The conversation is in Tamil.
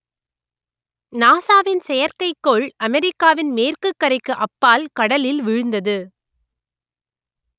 நாசாவின் செயற்கைக்கோள் அமெரிக்காவின் மேற்குக்கரைக்கு அப்பால் கடலில் வீழ்ந்தது